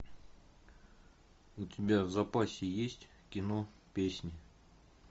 у тебя в запасе есть кино песнь